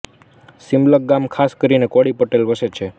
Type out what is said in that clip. સીમલક ગામમાં ખાસ કરીને કોળી પટેલો વસે છે